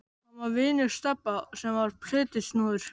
Hann var vinur Stebba sem var plötusnúður.